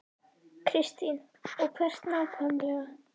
Kristín: Og hvert nákvæmlega?